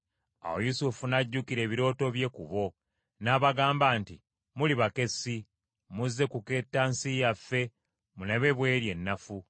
Awo Yusufu n’ajjukira ebirooto bye ku bo. N’abagamba nti, “Muli bakessi; muzze kuketta nsi yaffe mulabe bw’eri ennafu.”